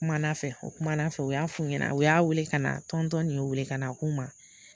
U kumana fɛ, o kumana fɛ, u y'a f'u ɲɛnɛn, o y'a wele ka na, tɔntɔn nin y'u wele ka na a kuma ma.